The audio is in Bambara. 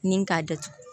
Ni k'a datugu